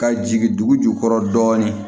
Ka jigin dugu jukɔrɔ dɔɔnin